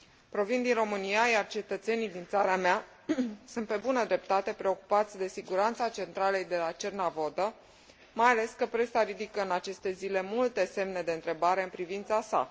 Provin din România, iar cetățenii din țara mea sunt, pe bună dreptate, preocupați de siguranța centralei de la Cernavodă, mai ales că presa ridică, în aceste zile, multe semne de întrebare în privința sa.